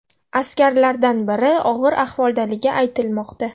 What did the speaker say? Askarlardan biri og‘ir ahvoldaligi aytilmoqda.